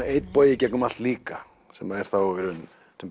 einn bogi í gegnum allt líka sem er þá í raun